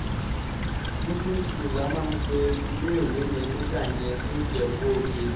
muslim school la máa ń pe iléèwé yẹn nígbà yẹn ní ìjẹ́bú-ọdẹ